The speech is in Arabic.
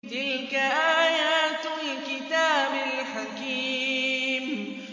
تِلْكَ آيَاتُ الْكِتَابِ الْحَكِيمِ